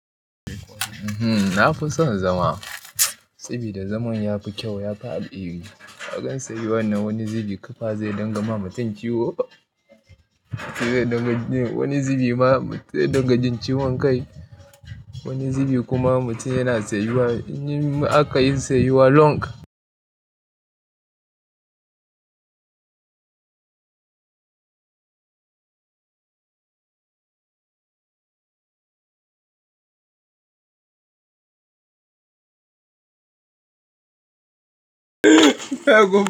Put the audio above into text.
Na fi son zama. Sabida zaman ya fi kyau, ya fi alheri. Akan tsayuwannan wani zubi kafa zai dinga ma mutum ciwo. Wani zubi ma zai dinga jin ciwon kai. Wani zubi kuma mutum yana tsayuwa. In akayi tsayuwa long.